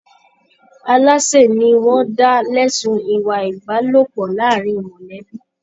Alase ni wọn dá lẹ̀sun ìwà ìbálòpọ̀ láàrín mọlẹbi.